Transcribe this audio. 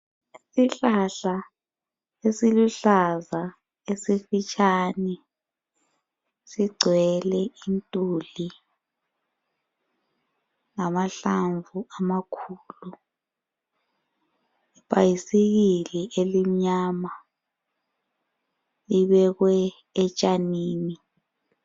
Isihlahla esiluhlaza esifitshane sigcwele intuli lamahlamvu amakhulu. Ibhayisikili elimnyama libekwe etshanini.